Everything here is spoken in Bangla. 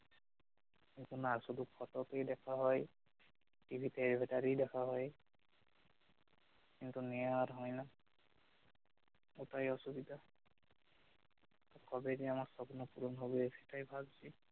না শুধু photo তেই দেখা হয় টিভি তে ভিতরেই দেখা হই কিন্তু নেওয়া আর হয় না সেটাই অসুবিধা কবে যে আমার স্বপ্ন পুরন হবে সেটাই ভাবছি